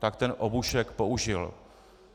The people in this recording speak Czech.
Tak ten obušek použil.